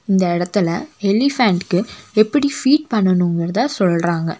இந்த எடத்துல எலிபேன்டுக்கு எப்படி ஃபீட் பன்னனுங்கிறத சொல்றாங்க.